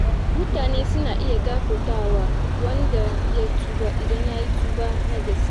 Mutane suna iya gafartawa wanda ya tuba, idan yayi tuba na gaske.